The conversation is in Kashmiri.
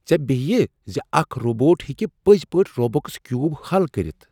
ژےٚ بٮ۪ہیہِ زِ اکھ روبوٹ ہیٚکہ پٕزۍ پٲٹھۍ روبکس کیوب حل کٔرتھ؟